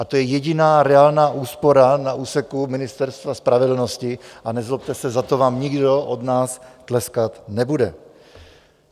A to je jediná reálná úspora na úseku Ministerstva spravedlnosti, a nezlobte se, za to vám nikdo od nás tleskat nebude.